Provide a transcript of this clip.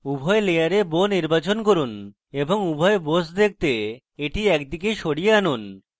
উপরের layer bow নির্বাচন করুন এবং উভয় bows দেখতে এটি একদিকে সরিয়ে আনুন